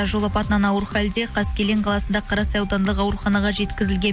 жол апатынан ауыр хәлде қаскелең қаласында қарасай аудандық ауруханаға жеткізілген